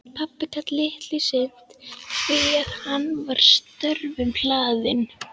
Pabbi gat litlu sinnt því að hann var störfum hlaðinn.